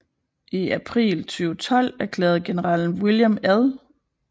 I april 2012 erklærede general William L